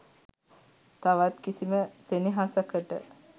තවත් කිසිම සෙනෙහසකට